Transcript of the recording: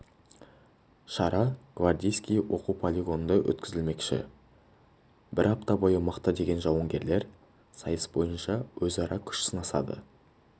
шара гвардейский оқу полигонында өткізілмекші бір апта бойы мықты деген жауынгерлер сайыс бойынша өзара күш сынасады